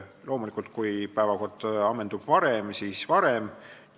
Loomulikult, kui päevakord ammendub varem, siis lõpeb varem.